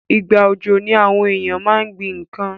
Ìgbà òjò ni àwon éyàn ma n gbín nkan